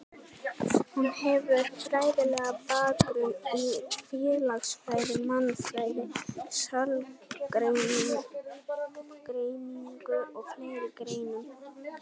Hún hefur fræðilegan bakgrunn í félagsfræði, mannfræði, sálgreiningu og fleiri greinum.